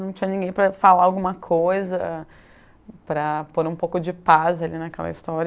Não tinha ninguém para falar alguma coisa, para pôr um pouco de paz ali naquela história.